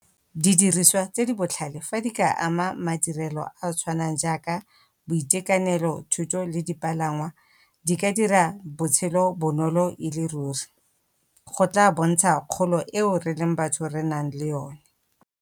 Didiriswa tse di botlhale fa di ka ama madirelo a a tshwanang jaaka boitekanelo, thuto, le dipalangwa di ka dira botshelo bonolo e le ruri. Go tla bontsha kgolo eo re leng batho re nang le yone.